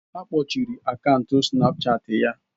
Akpochiri akaụntụ snapchaati ya